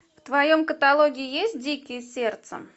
в твоем каталоге есть дикие сердцем